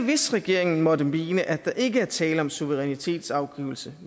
hvis regeringen måtte mene at der ikke er tale om suverænitetsafgivelse